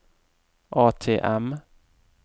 ATM